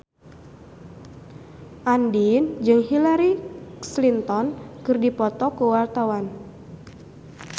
Andien jeung Hillary Clinton keur dipoto ku wartawan